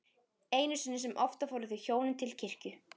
Einu sinni sem oftar fóru þau hjónin til kirkju.